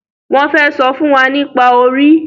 Wón fè sọfún wá nípa orí